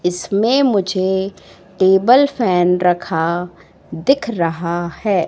इसमें मुझे table fan रखा दिख रहा है।